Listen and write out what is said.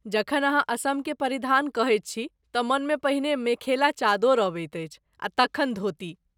जखन अहाँ असमके परिधान कहैत छी तँ मनमे पहिने मेखेला चादोर अबैत अछि आ तखन धोती।